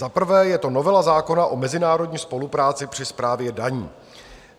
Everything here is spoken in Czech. Za prvé je to novela zákona o mezinárodní spolupráci při správě daní.